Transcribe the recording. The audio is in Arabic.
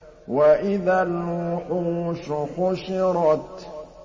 وَإِذَا الْوُحُوشُ حُشِرَتْ